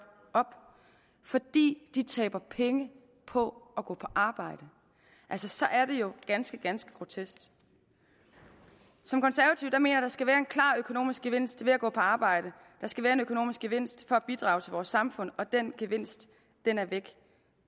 op fordi de taber penge på at gå på arbejde så er det jo ganske ganske grotesk som konservativ mener der skal være en klar økonomisk gevinst ved at gå på arbejde der skal være en økonomisk gevinst for at bidrage til vores samfund og den gevinst er væk